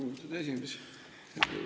Lugupeetud esimees!